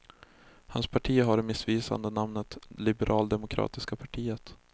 Hans parti har det missvisande namnet liberaldemokratiska partiet.